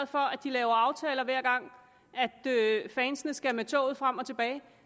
for at de laver aftaler hver gang fansene skal med toget frem og tilbage